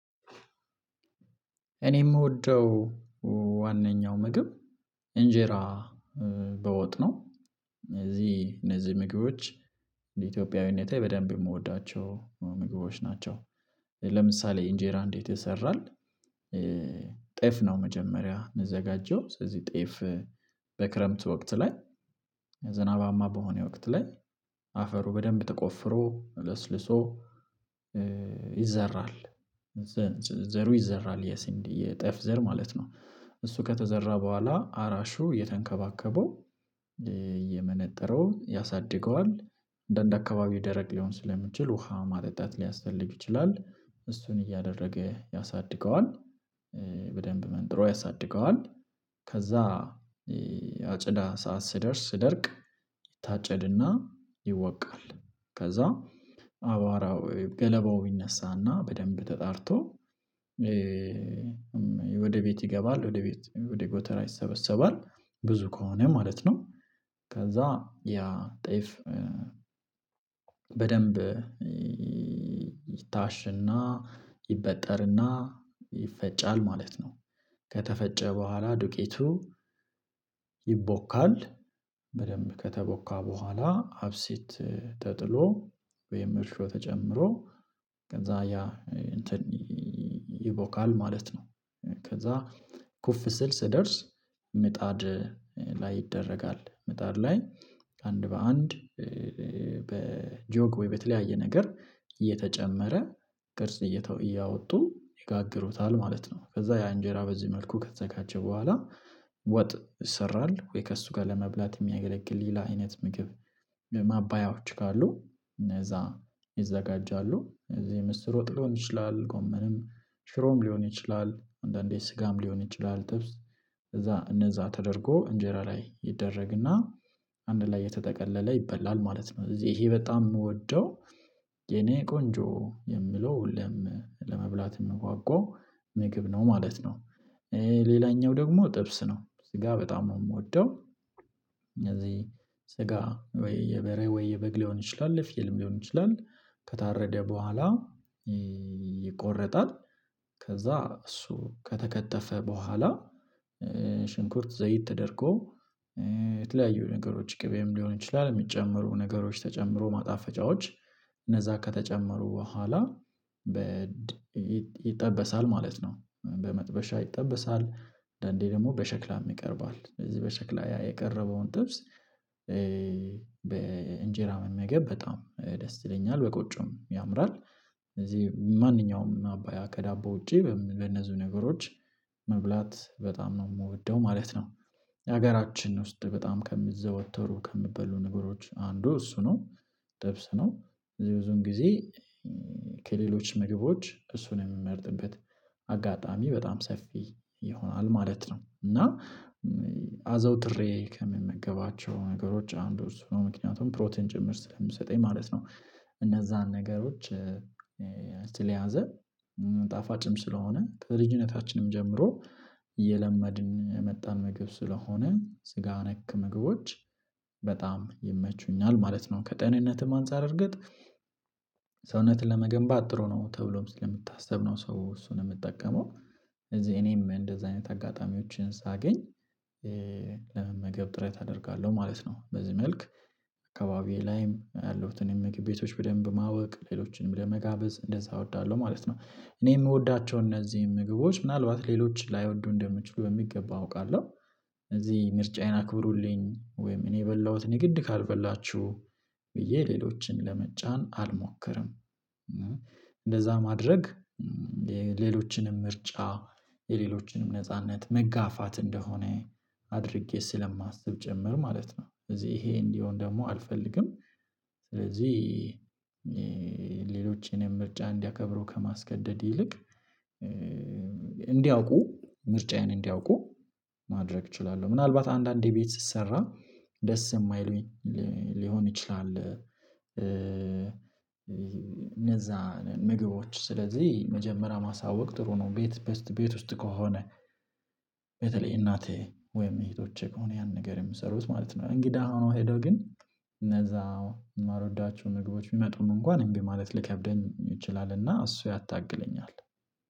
እኔ የምወደው ዋናኛው ምግብ እንጀራ በወጥ እነዚህ እነዚህ ምግቦች እንደ ኢትዮጵያዊነቴ በደንብ የምወዳቸው ምግቦች ናቸው። ለምሳሌ እንጀራ እንዴት ይሰራል? ጤፍ ነው መጀመሪያ የሚዘጋጀው ስለዚህ ጤፍ በክረምት ወቅት ላይ ዝናባማ በሆነ ወቅት ላይ አፈሩ በደንብ ተቆፍሮ ልስልሶ ይዘራል ዘሩ ይዘራል የስንዴ የጤፍ ዘር ማለት ነው እሱ ከተዘራ በኋላ አራሹ እየተንከባከበው እየመነጠረው ያሳድገዋል እንደ አካባቢው ደረቅ ሊሆን ስለሚችል ውሃ ማጠጣት ሊያስፈልግ ይችላል እሱን እያደረገ ያሳድገዋል። በደንብ መንጥሮ ያሳድገዋል ከዛ አጨዳ ሰዓት ሲደርስ ሲደርቅ ይታጨድና ይወቃል ከዛ አቧራው ገለባው ይነሳና በደንብ ተጣርቶ ወደ ቤት ይገባል ወደ ቤት ወደ ጎተራ ይሰበሰባል ብዙ ከሆነ ማለት ነው። ከዛ ያ ጤፍ በደንብ ይታሽና ይበጠርና ይፈጫል ማለት ነው። ከተፈጨ በኋላ ዱቄቱ ይቦካል በደንብ ከተቦካ በኋላ አብሲት ተጥሎ ወይም እርሾ ተጨምሮ ከዛ ያ እንትን ይቦካል ማለት ነው። ከዛ ኩፍ ሲል ሲደርስ ምጣድ ላይ ይደረጋል ምጣር ላይ አንድ በአንድ በጆግ ወይ በተለያየ ነገር እየተጨመረ ቅርጽ እየተ እያወጡ ይጋግሩታል ማለት ነው። ከዛ ያ እንጀራ በዚህ መልኩ ከተዘጋጀ በኋላ ወጥ ይሰራል ወይ ከእሱ ጋር ለመብላት የሚያገለግል ሌላ አይነት ምግብ ማባያዎች ካሉ እነዛ ይዘጋጃሉ እዚህ ምስር ወጥ ሊሆን ይችላል ጎመንም ሽሮም ሊሆን ይችላል አንዳንዴ ስጋም ሊሆን ይችላል ጥብስ ከዛ እደዛ ተደርጎ እንጀራ ላይ ይደረግና አንድ ላይ እተጠቀለለ ይበላል ማለት ነው። እዚህ ይሄ በጣም የምወደው የኔ ቆንጆ የምለው ለመብላት የምጓጓው ምግብ ነው ማለት ነው። ሌላኛው ደግሞ ጥብስ ነው ስጋ በጣም ነው የምወደው እነዚህ ስጋ ወይ የበሬ ወይ የበግ ሊሆን ይችላል የፍየልም ሊሆን ይችላል። ከታረደ በኋላ ይቆርጣል ከዛ እሱ ከተከተፈ በኋላ ሽንኩርት ዘይት ተደርጎ የተለያዩ ነገሮች ቅቤም ሊሆን ይችላል የሚጨመሩ ነገሮች ተጨምሮ ማጣፈጫዎች እነዛ ከተጨመሩ በኋላ ይጠበሳል ማለት ነው። በመጥበሻ ይጠበሳል አንዳንዴ ደግሞ በሸክላም ይቀርባል እዚህ በሸክላ ያ የቀረበውን ጥብስ በእንጀራ መመገብ በጣም ደስ ይለኛል በቆጮም ያምራል። ስለዚህ ማንኛውም ማባያ ከዳቦ ውጪ በነዚህ ነገሮች መብላት በጣም ነው የምወደው ማለት ነው። ሀገራችን ውስጥ በጣም ከሚዘወተሩ ከሚበሉ ነገሮች አንዱ እሱ ነው ጥብስ ነው ብዙን ጊዜ ከሌሎች ምግቦች እሱን የምመርጥበት አጋጣሚ በጣም ሰፊ ይሆናል ማለት ነው። እና አዘውትሬ ከምመገባቸው ነገሮች አንዱ እሱ ነው ምክንያቱም ፕሮቲን ጭምር ስለሚሰጠኝ ማለት ነው እነዛን ነገሮች ስለያዘ ጣፋጭም ስለሆነ ከልጅነታችንም ጀምሮ እየለመድን የመጣን መግብ ስለሆነ ስጋ ነክ ምግቦች በጣም ይመቹኛል ማለት ነው። ከጤንነትም አንፃር እርግጥ ሰውነትን ለመገንባት ጥሩ ነው ተብሎም ስለሚታስብ ነው ሰው እሱን የሚጠቀመው ስለዚህ እኔም እንደዚህ አይነት አጋጣሚዎችን ሳገኝ ለመመገብ ጥረት አደርጋለሁ ማለት ነው። በዚህ መልክ አካባቢዬ ላይም ያለሁትን የምግብ ቤቶች በደንብ ማወቅ ሌሎችንም ለመጋበዝ እንደዛ እወዳለሁ ማለት ነው። እኔ የምወዳቸው እነዚህ ምግቦች ምናልባት ሌሎች ላይወዱ እንደምችሉ በሚገባ አውቃለሁ እዚህ ምርጫዬን አክብሩልኝ ወይም እኔ የበላሁት የግድ ካልበላችሁ ብዬ ሌሎችን ለመጫን አልሞክርም። እንደዛ ማድረግ የሌሎችንም ምርጫ የሌሎችንም ነጻነት መጋፋት እንደሆነ አድርጌ ስለማስብ ጭምር ማለት ነው እዚህ ይሄ እንዲሆን ደግሞ አልፈልግም። ስለዚህ ሌሎችንም ምርጫ እንዲያከብረው ከማስገደድ ይልቅ እንዲያውቁ ምርጫዬን እንዲያውቁ ማድረግ እችላለሁ ምናልባት አንዳንዴ ቤት ስሰራ ደስ የማይሉኝ ሊሆን ይችላል። እነዛ ምግቦች ስለዚህ መጀመሪያ ማሳወቅ ጥሩ ነው ቤት ቤት ውስጥ ከሆነ በተለይ እናቴ ወይም እህቶቼ ከሆነ ያን ነገር የምሰሩት ማለት ነው እንግዳ ነው ሄዶ ግን እነዛ የማልወዳቸው ምግቦች ቢመጡም እንኳን እምቢማለት ሊከብደኝ ይችላልና እሱ ያታግለኛል።